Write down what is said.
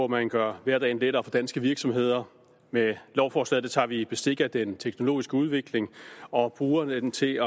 man gør hverdagen lettere for danske virksomheder med lovforslaget tager vi bestik af den teknologiske udvikling og bruger den til at